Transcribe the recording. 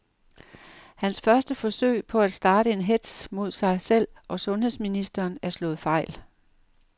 Hans første forsøg på at starte en hetz mod sig selv og sundheds ministeren er slået fejl.